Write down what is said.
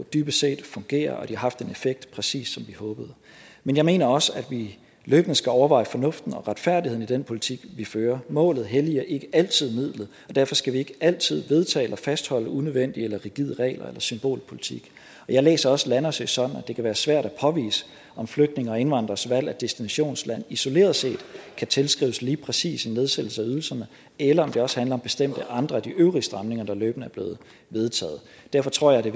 dybest set fungerer og at de har haft den effekt præcis som vi håbede men jeg mener også at vi løbende skal overveje fornuften og retfærdigheden i den politik vi fører målet helliger ikke altid midlet og derfor skal vi ikke altid vedtage eller fastholde unødvendige eller rigide regler eller symbolpolitik jeg læser også rasmus landersø sådan at det kan være svært at påvise om flygtninges og indvandreres valg af destinationsland isoleret set kan tilskrives lige præcis en nedsættelse af ydelserne eller om det også handler om bestemte andre af de øvrige stramninger der løbende er blevet vedtaget derfor tror jeg det